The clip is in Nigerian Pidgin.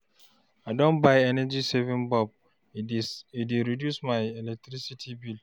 I don buy energy-saving bulb, e dey reduce my electricity bill.